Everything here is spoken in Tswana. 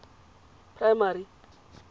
primary